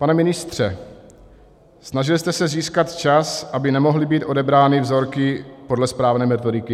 Pane ministře, snažil jste se získat čas, aby nemohly být odebrány vzorky podle správné metodiky?